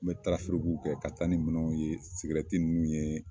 N bɛ kɛ ka taa ni minɛn ninnu ye ninnu ye